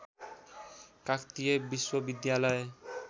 काकतीय विश्वविद्यालय